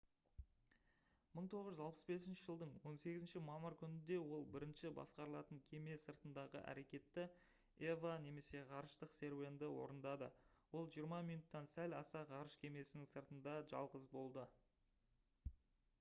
1965 жылдың 18 мамыр күнінде ол бірінші басқарылатын кеме сыртындағы әрекетті eva немесе «ғарыштық серуенді» орындады. ол жиырма минуттан сәл аса ғарыш кемесінің сыртында жалғыз болды